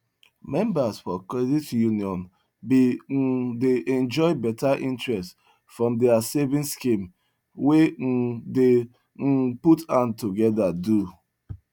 members for credit union been um dey enjoy better interest from their savings scheme wey um dem um put hand together do